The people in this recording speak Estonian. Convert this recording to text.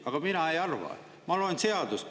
Aga mina ei arva, ma loen seadust.